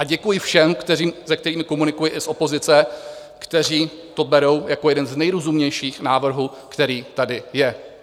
A děkuji všem, s kterými komunikuji, i z opozice, kteří to berou jako jeden z nejrozumnějších návrhů, který tady je.